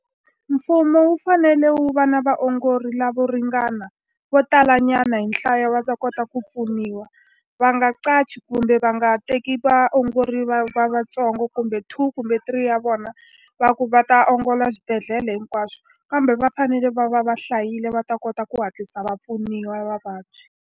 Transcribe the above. Mfumo wu fanele wu va na vaongori lavo ringana, vo talanyana hi nhlayo wa ta kota ku pfuniwa. Va nga qachi kumbe va nga teki vaongori va lava ntsongo kumbe two, kumbe three ya vona, va ku va ta ongola swibedhlele hinkwaxo. Kambe va fanele va va va hlayile va ta kota ku hatlisa va pfuniwa vavabyi.